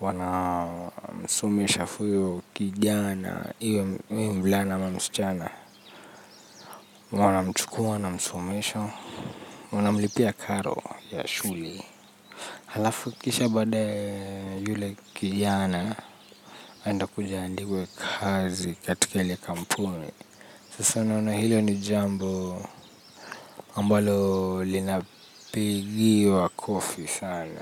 wana msumosha fuyo kijana, iwe mvulana ama msichana wanamchukua wanamsomesha wanamlipia karo ya shule. Halafu kisha bada yule kijana anaenda kuja kuandikwa kazi katika ile kampuni. Sasa unaona hilo ni jambo ambalo linapigiwa kofi sana.